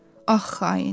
Ax xain!